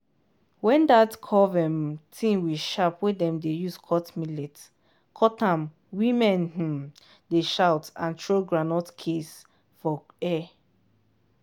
when that curve um thing we aharp wey dem dey use cut millet cut am women um dey shout and throw groundnut case for air.